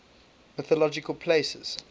mythological places